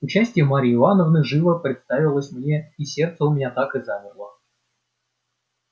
участие марьи ивановны живо представилась мне и сердце у меня так и замерло